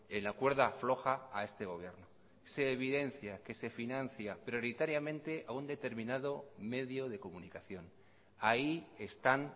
en la cuerda floja a este gobierno se evidencia que se financia prioritariamente a un determinado medio de comunicación ahí están